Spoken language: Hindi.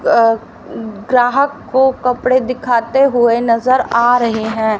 अ ग्राहक को कपड़े दिखाते हुए नज़र आ रहे हैं।